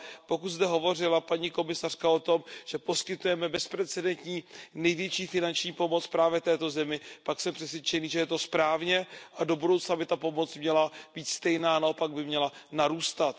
Pokud zde hovořila paní komisařka o tom, že poskytujeme bezprecedentní, největší finanční pomoc právě této zemi, pak jsem přesvědčený, že je to správně a do budoucna by ta pomoc měla být stejná, naopak by měla narůstat.